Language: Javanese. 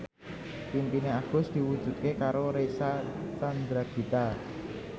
impine Agus diwujudke karo Reysa Chandragitta